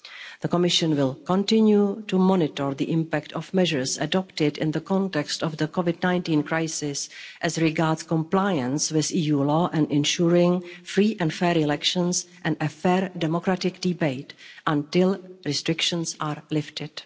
The Commission will continue to monitor the impact of measures adopted in the context of the COVID 19 crisis as regards compliance with EU law and ensuring free and fair elections and a fair democratic debate until restrictions are lifted.